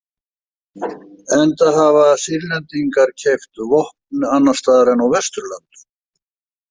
Enda hafa Sýrlendingar keypt vopn annars staðar en á Vesturlöndum.